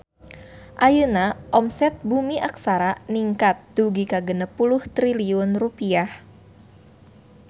Ayeuna omset Bumi Aksara ningkat dugi ka 60 triliun rupiah